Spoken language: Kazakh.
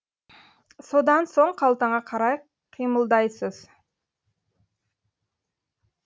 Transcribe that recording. содан соң қалтаңа қарай қимылдайсыз